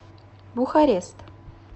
бухарест